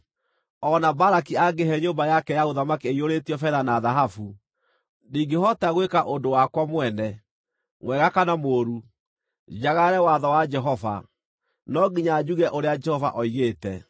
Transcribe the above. ‘O na Balaki angĩĩhe nyũmba yake ya ũthamaki ĩiyũrĩtio betha na thahabu, ndingĩhota gwĩka ũndũ wakwa mwene, mwega kana mũũru, njagarare watho wa Jehova; no nginya njuge ũrĩa Jehova oigĩte’?